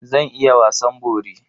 Zan iya wasan bori.